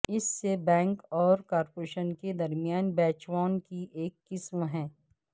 اس سے بینک اور کارپوریشن کے درمیان بیچوان کی ایک قسم ہے